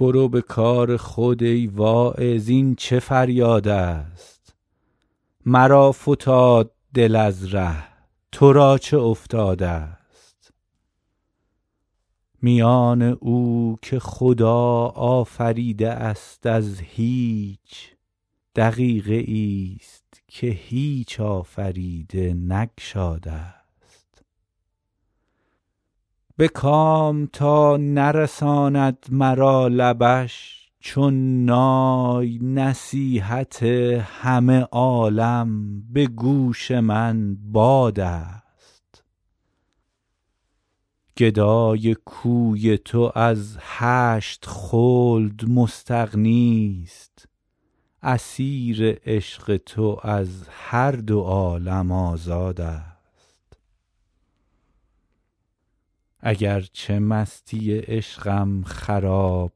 برو به کار خود ای واعظ این چه فریادست مرا فتاد دل از ره تو را چه افتادست میان او که خدا آفریده است از هیچ دقیقه ای ست که هیچ آفریده نگشادست به کام تا نرساند مرا لبش چون نای نصیحت همه عالم به گوش من بادست گدای کوی تو از هشت خلد مستغنی ست اسیر عشق تو از هر دو عالم آزادست اگر چه مستی عشقم خراب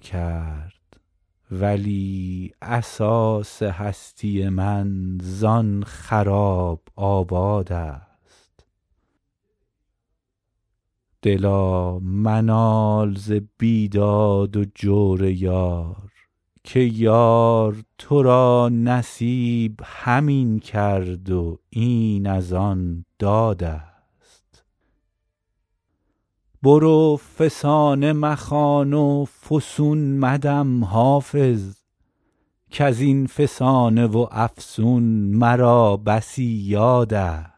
کرد ولی اساس هستی من زآن خراب آبادست دلا منال ز بیداد و جور یار که یار تو را نصیب همین کرد و این از آن دادست برو فسانه مخوان و فسون مدم حافظ کز این فسانه و افسون مرا بسی یادست